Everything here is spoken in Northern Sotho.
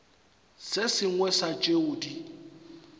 se sengwe sa tšeo di